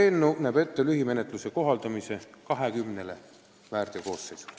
Eelnõu näeb ette lühimenetluse kohaldamise, kui tegu on 20 väärteokoosseisuga.